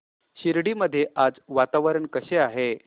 शिर्डी मध्ये आज वातावरण कसे आहे